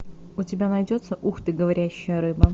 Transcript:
у тебя найдется ух ты говорящая рыба